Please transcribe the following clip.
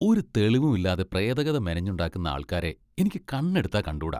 ഒരു തെളിവും ഇല്ലാതെ പ്രേതകഥ മെനഞ്ഞുണ്ടാക്കുന്ന ആൾക്കാരെ എനിക്ക് കണ്ണെടുത്താൽ കണ്ടൂടാ.